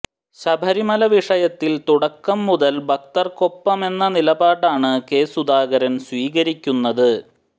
ശബരിമല വിഷയത്തിൽ തുടക്കം മുതൽ ഭക്തർക്കൊപ്പമെന്ന നിലപാടാണ് കെ സുധാകരൻ സ്വീകരിക്കുന്നത്